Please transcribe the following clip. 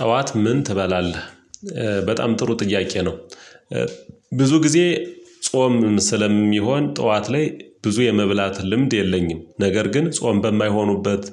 ጠዋት ምን ትበላለህ? በጣም ጥሩ ጥያቄ ነው። ብዙ ጊዜ ጾም ስለሚሆን ጠዋት ላይ ብዙ የመብላት ልምድ የለኝም ነገር ግን ጾም በማይሆኑበት።